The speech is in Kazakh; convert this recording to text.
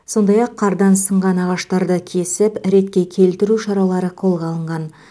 сондай ақ қардан сынған ағаштарды кесіп ретке келтіру шаралары қолға алынған